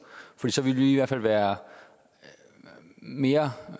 for så ville vi i hvert fald være mere